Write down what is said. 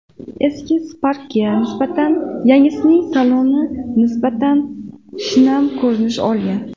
Eski Spark’ga nisbatan yangisining saloni nisbatan shinam ko‘rinish olgan.